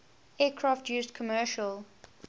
aircraft used commercial